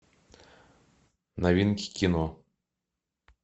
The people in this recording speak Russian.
новинки кино